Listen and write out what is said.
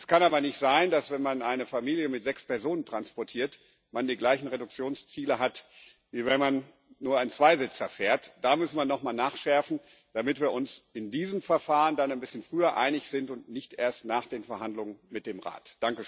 Es kann aber nicht sein, dass man, wenn man eine Familie mit sechs Personen transportiert, die gleichen Reduktionsziele hat, wie wenn man nur einen Zweisitzer fährt. Da muss man nochmal nachschärfen, damit wir uns in diesem Verfahren ein bisschen früher einig sind und nicht erst nach den Verhandlungen mit dem Rat.